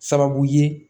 Sababu ye